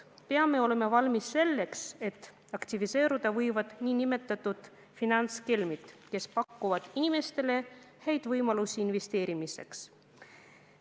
Me peame olema valmis selleks, et aktiviseeruda võivad nn finantskelmid, kes pakuvad inimestele häid võimalusi investeerimiseks.